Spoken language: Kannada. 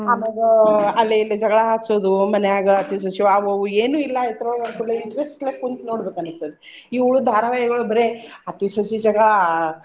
ಆಮ್ಯಾಗ ಅಲ್ಲಿ ಇಲ್ಲಿ ಜಗಳ ಹಚ್ಚೋದು ಮನ್ಯಾಗ ಅತ್ತಿ ಸ್ವಸಿ ಆವು ಇವು ಏನು ಇಲ್ಲಾ ಇತ್ರೋಳಗ ಅಂದಕೂಡ್ಲೇ interest ಲೆ ಕುಂತ ನೋಡ್ಬೇಕ ಅನ್ಸಸ್ತೇತಿ. ಇವ್ರು ಧಾರವಾಹಿಗಳು ಬರೇ ಅತ್ತಿ ಸ್ವಸಿ ಜಗಳಾ.